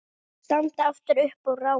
Standa aftur upp og rápa.